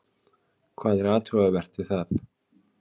Hvað er athugavert við það?